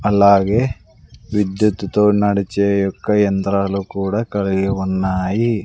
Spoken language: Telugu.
అలాగే విద్యుత్తు తో నడిచే యొక్క యంత్రాలు కూడా కలిగి ఉన్నాయి.